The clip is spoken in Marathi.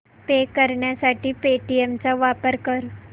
पे करण्यासाठी पेटीएम चा वापर कर